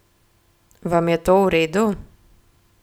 Vam je to v redu?